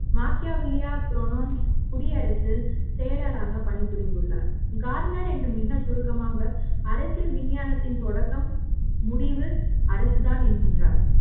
வாக்கியா வில்யா புராணஸ் குடியரசு செயலாளராக பணி புரிந்துள்ளார் கார்னர் என்று மிகச் சுருக்கமாக அரசியல் விஞ்ஞானத்தின் தொடக்க ம் முடிவு அரசுதான் என்கின்றார்